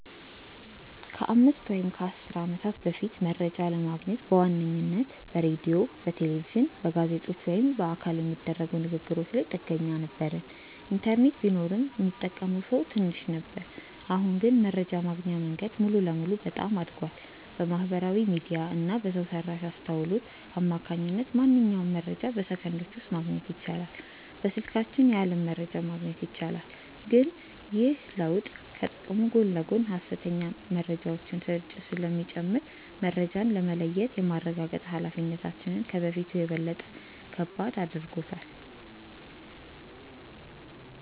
ከአምስት ወይም ከአሥር ዓመታት በፊት መረጃ ለማግኘት በዋነኝነት በሬዲዮ፣ በቴሌቪዥን፣ በጋዜጦች ወይም በአካል በሚደረጉ ንግ ግሮች ላይ ጥገኛ ነበርን። ኢንተርኔት ቢኖርም ሚጠቀመው ሰው ትንሽ ነበር። አሁን ግን መረጃ የማግኛው መንገድ ሙሉ በሙሉ በጣም አድጓል። በማህበራዊ ሚዲያ እና በሰው ሰራሽ አስውሎት አማካኝነት ማንኛውንም መረጃ በሰከንዶች ውስጥ ማግኘት ይቻላል። በስልካችን የዓለም መረጃን ማግኘት ይቻላል። ግን ይህ ለውጥ ከጥቅሙ ጎን ለጎን የሐሰተኛ መረጃዎች ስርጭትን ስለሚጨምር፣ መረጃን የመለየትና የማረጋገጥ ኃላፊነታችንን ከበፊቱ በበለጠ ከባድ አድርጎታል።